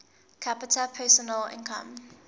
capita personal income